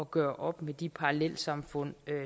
gøre op med de parallelsamfund